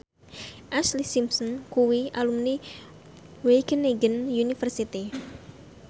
Ashlee Simpson kuwi alumni Wageningen University